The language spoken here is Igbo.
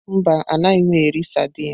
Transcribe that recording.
Mba, anaghị m eri saidini.